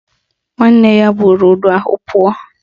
Nwanne buru udu ahụ pụọ